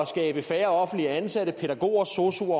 skabe færre offentligt ansatte pædagoger sosu